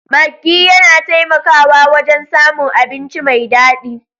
Maggi yana taimakawa wajen samun abinci mai daɗi.